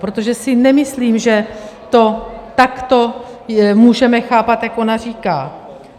Protože si nemyslím, že to takto můžeme chápat, jak ona říká.